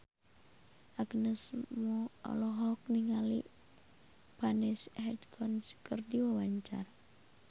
Agnes Mo olohok ningali Vanessa Hudgens keur diwawancara